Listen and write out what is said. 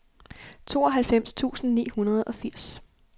tooghalvfems tusind ni hundrede og firs